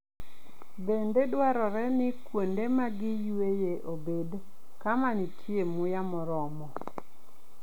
Bende dwarore ni kuonde ma gi yueyoe obed kama nitie muya moromo.